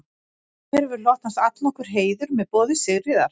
Þér hefur hlotnast allnokkur heiður með boði Sigríðar